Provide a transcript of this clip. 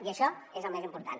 i això és el més important